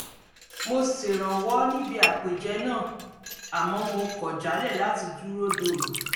mo ṣèrànwọ́ níbi àpèjẹ náà àmọ́ mo kọ̀ jálẹ̀ láti dúró dòru